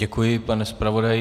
Děkuji, pane zpravodaji.